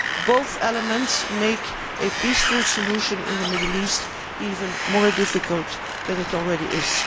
Both elements make a peaceful solution in the Middle East even more difficult than it already is.